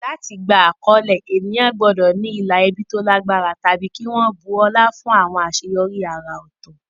Láti gba àkọlé, ènìyàn gbọ́dọ̀ ní ìlà ẹbí tó lágbára tàbí kí wọ́n bu ọlá fún àwọn àṣeyọrí àrà ọ̀tọ̀.